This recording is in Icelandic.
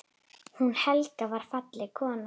Hún Helga var falleg kona.